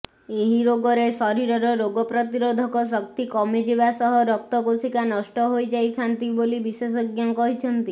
ଏହି ରୋଗରେ ଶରୀରର ରୋଗ ପ୍ରତିରୋଧକ ଶକ୍ତି କମିଯିବା ସହ ରକ୍ତକୋଷିକା ନଷ୍ଟ ହୋଇଯାଆନ୍ତି ବୋଲି ବିଶେଷଜ୍ଞ କହିଛନ୍ତି